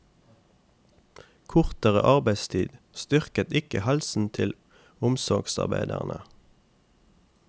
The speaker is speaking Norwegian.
Kortere arbeidstid styrket ikke helsen til omsorgsarbeiderne.